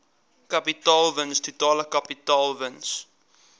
kapitaalwins totale kapitaalwins